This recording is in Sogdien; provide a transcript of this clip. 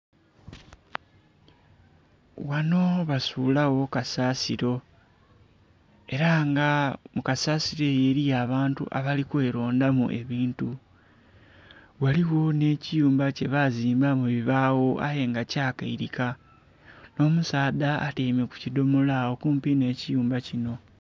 Ghanho basulagho kasasiro era nga mu kasasiro eyo eriyo abantu abali kwelonda mu ebintu ghaligho nhe kiyumba kye bazimbisa nhe bibagho aye nga kya keirika nho musaadha atyaime kukidhomolo agho kumpi nhe kiyumba kinho.